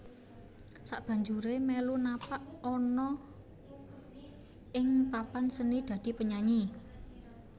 Sakbanjuré melu napak ana ing papan seni dadi penyanyi